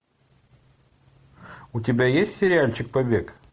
у тебя есть сериальчик побег